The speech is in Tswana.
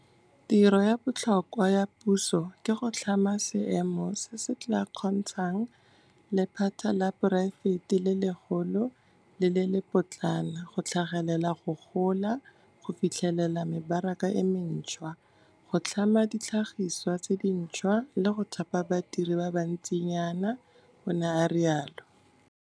Tiro ya botlhokwa ya puso ke go tlhama seemo se se tla kgontshang lephata la poraefete le legolo le le lepotlana go tlhagelela, go gola, go fitlhelela mebaraka e mentšhwa, go tlhama ditlhagiswa tse dintšhwa, le go thapa badiri ba bantsinyana, o ne a rialo.